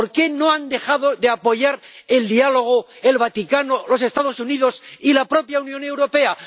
¿Por qué no han dejado de apoyar el diálogo el Vaticano, los Estados Unidos y la propia Unión Europea?